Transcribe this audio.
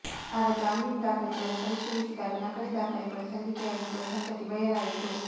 ಆಗ ಜಾಮೀನು ದಾಖಲೆಗಳನ್ನು ಪರಿಶೀಲಿಸಿದಾಗ ನಕಲಿ ದಾಖಲೆಗಳು ಸಲ್ಲಿಕೆಯಾಗಿರುವ ಸಂಗತಿ ಬಯಲಾಯಿತು